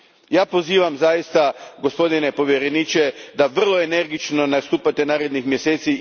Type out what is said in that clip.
Ja pozivam zaista, gospodine povjereniče, da vrlo energično nastupate narednih mjeseci.